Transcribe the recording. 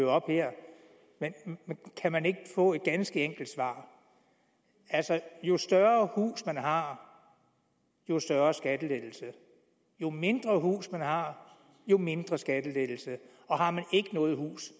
op her men kan man ikke få et ganske enkelt svar altså jo større hus man har jo større skattelettelse jo mindre hus man har jo mindre skattelettelse og har man ikke noget hus